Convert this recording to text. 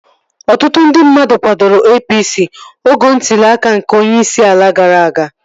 Ọtụtụ ndị mmadụ kwadoro APC oge ntụli aka nke onyeisi ala gara aga